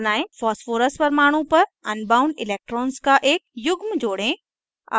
phosphorus परमाणु पर bound electrons का एक युग्म जोड़ें